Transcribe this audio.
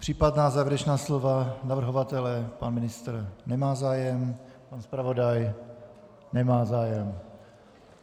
Případná závěrečná slova navrhovatele, pan ministr nemá zájem, pan zpravodaj nemá zájem.